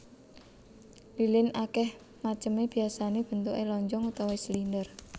Lilin akeh maceme biyasané bentuké lonjong utawa silinder